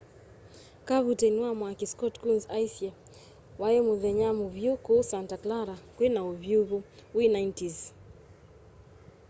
kavuteini wa mwaki scott kouns aisye wai muthenya muvyu kuu santa clara kwina uvyuvu wi 90s